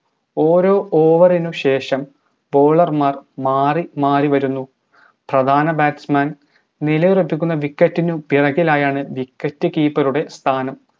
ഓരോ over നു ശേഷം bowler മാർ മാറി മാറി വരുന്നു പ്രധാന batsman നിലയുറപ്പിക്കുന്ന wicket ന് പിറകിലായാണ് wicket keeper ടെ സ്ഥാനം